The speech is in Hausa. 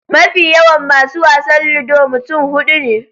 Mafi yawan masu wasan Ludo mutum huɗu ne.